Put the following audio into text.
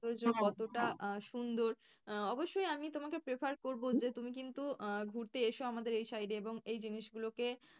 কতটা সুন্দর আহ অবশ্যই আমি তোমাকে prefer করবো যে তুমি কিন্ত ঘুরতে এসো আমাদের এই side এ এবং এই জিনিস গুলোকে।